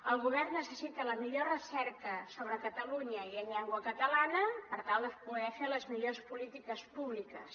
el govern necessita la millor recerca sobre catalunya i en llengua catalana per tal de poder fer les millors polítiques públiques